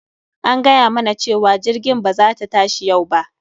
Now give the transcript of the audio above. An gayamana cewa jirgin ba za ta tashi yau ba,